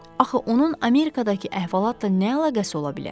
Axı onun Amerikadakı əhvalatla nə əlaqəsi ola bilər?